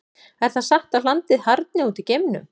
Er það satt að hlandið harðni út í geimnum?